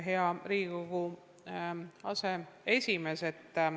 Hea Riigikogu aseesimees!